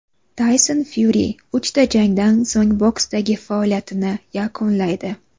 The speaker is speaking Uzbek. Tayson Fyuri uchta jangdan so‘ng boksdagi faoliyatini yakunlaydi.